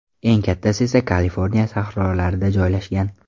Eng kattasi esa Kaliforniya sahrolarida joylashgan.